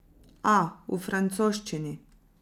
A, v francoščini.